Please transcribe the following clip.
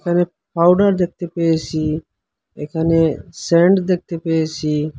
এখানে পাউডার দেখতে পেয়েসি এখানে সেন্ট দেখতে পেয়েসি।